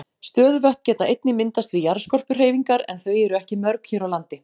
Stöðuvötn geta einnig myndast við jarðskorpuhreyfingar en þau eru ekki mörg hér á landi.